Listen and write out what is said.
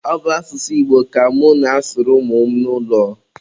ọ bụ asụsụ Igbo ka mụ na-asụrụ ụmụ m n'ụlọ